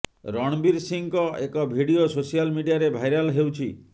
ରଣବୀର ସିଂହଙ୍କ ଏକ video social ମିଡ଼ିଆରେ ଭାଇରାଲ୍ ହେଉଛି